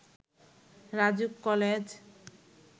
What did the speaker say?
RAJUK college